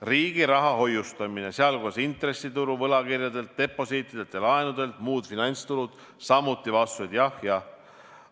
Riigi raha hoiustamine, sh intressitulu võlakirjadelt, deposiitidelt ja laenudelt, muud finantstulud: samuti on vastused jah, jah.